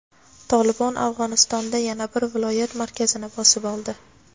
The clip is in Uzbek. "Tolibon" Afg‘onistonda yana bir viloyat markazini bosib oldi.